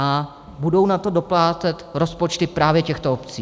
A budou na to doplácet rozpočty právě těchto obcí.